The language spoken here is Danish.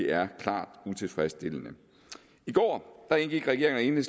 er klart utilfredsstillende i går indgik regeringen